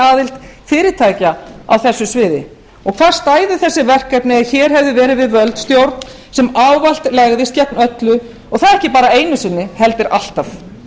aðild fyrirtækja á þessu sviði hvar stæðu þessi verkefni ef hér hefðu verið við völd stjórn sem ávallt legðist gegn öllu og það ekki bara einu sinni heldur alltaf